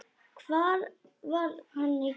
Hvar var hann í gær?